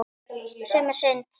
Sem er synd.